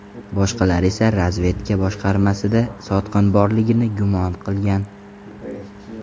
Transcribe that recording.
Boshqalari esa razvedka boshqarmasida sotqin borligini gumon qilgan.